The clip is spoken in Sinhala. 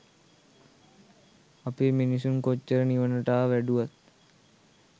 අපේ මිනිසුන් කොච්චර නිවනට ආ වැඩුවත්